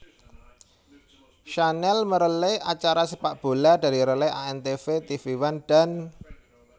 Channel merelay acara sepakbola dari relay antv tvOne dan